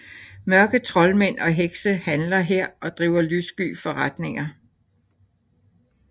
Mørke troldmænd og hekse handler her og driver lyssky forretninger